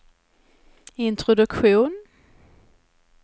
introduktion